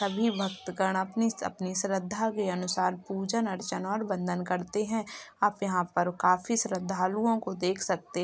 सभी भक्तगण अपनी-अपनी श्रद्धा के अनुसार पूजन अर्चन और वंदन करते है आप यहा पर काफी श्रद्धालुओं को देख सकते --